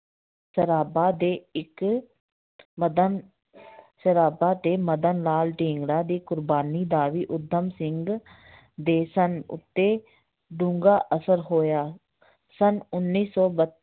ਸਰਾਭਾ ਦੇ ਇੱਕ ਮਦਨ ਸਰਾਭਾ ਤੇ ਮਦਨ ਲਾਲ ਢੀਂਗੜਾ ਦੀ ਕੁਰਬਾਨੀ ਦਾ ਵੀ ਊਧਮ ਸਿੰਘ ਦੇ ਸਨ ਉੱਤੇ ਡੂੰਘਾ ਅਸਰ ਹੋਇ ਸੰਨ ਉੱਨੀ ਸੌ ਬ